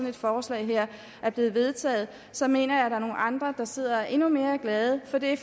et forslag her er blevet vedtaget så mener jeg er nogle andre der sidder og er endnu mere glade for det